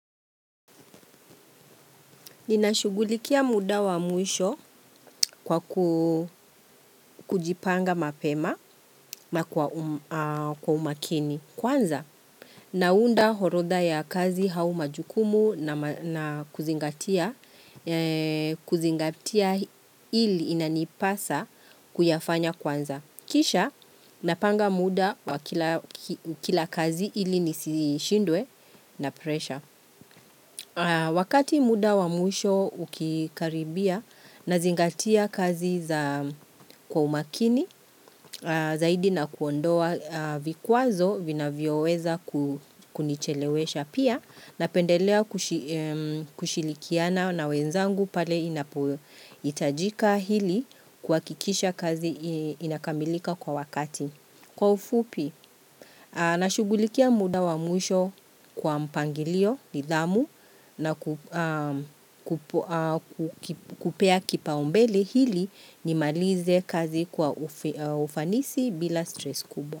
Ninashugulikia muda wa mwisho kwa kuu kujipanga mapema na kwa umakini kwanza. Naunda horodha ya kazi hau jukumu na kuzingatia, kuzingatia ili inanipasa kuyafanya kwanza. Kisha napanga muda kila kila kazi ili nisi shindwe na presha. Wakati muda wamwisho ukikaribia na zingatia kazi za kwa umakini aah zaidi na kuondoa aah vikuazo vina vyoweza ku kunichelewesha pia na pendelea kushilikiana na wenzangu pale inapo itajika hili kuhakikisha kazi ii inakamilika kwa wakati. Kwa ufupi, aah na shugulikia muda wa mwisho kwa mpangilio nidamu na ku aaam kupea kipaumbele hili nimalize kazi kwa ufanisi bila stress kubwa.